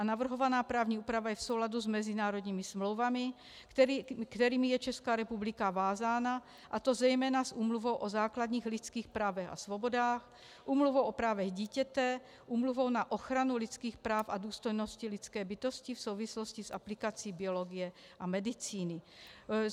A navrhovaná právní úprava je v souladu s mezinárodními smlouvami, kterými je Česká republika vázána, a to zejména s Úmluvou o základních lidských právech a svobodách, Úmluvou o právech dítěte, Úmluvou na ochranu lidských práv a důstojnosti lidské bytosti v souvislosti s aplikací biologie a medicíny.